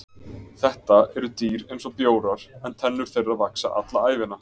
Þetta eru dýr eins og bjórar en tennur þeirra vaxa alla ævina.